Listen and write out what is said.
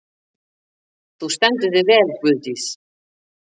Þú stendur þig vel, Guðdís!